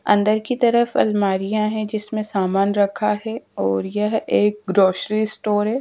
अंदर की तरफ अलमारियां है जिसमें सामान रखा है और यह एक ग्रोसरी स्टोर है।